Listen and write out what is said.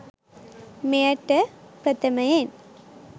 මෙයට ප්‍රථමයෙන්